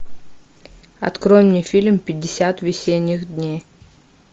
открой мне фильм пятьдесят весенних дней